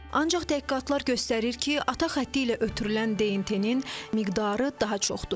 Ancaq təhqiqatlar göstərir ki, ata xətti ilə ötürülən DNT-nin miqdarı daha çoxdur.